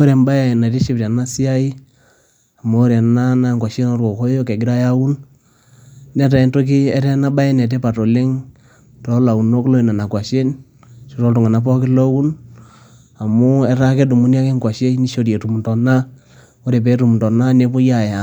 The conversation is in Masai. Ore embae naitiship tena siai, amu ore ena naa enkuashen oo kokoyo egirai aaun netaa enabaye enetipat oleng' too launok loo nena kwashen ashuu too tunganak pookin ooun, amu etaa kedumuni ake ekwashei neishori etum inton ore pee etum nepoi aaya